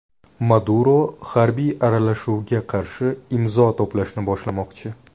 Maduro harbiy aralashuvga qarshi imzo to‘plashni boshlamoqchi.